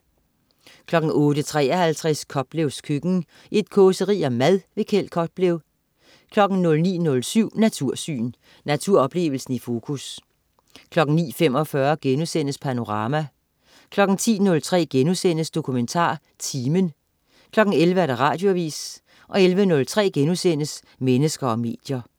08.53 Koplevs køkken. Et causeri om mad. Kjeld Koplev 09.07 Natursyn. Naturoplevelsen i fokus 09.45 Panorama* 10.03 DokumentarTimen* 11.00 Radioavis 11.03 Mennesker og medier*